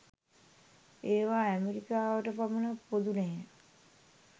ඒවා ඇමෙරිකාවට පමණක් පොදු නැහැ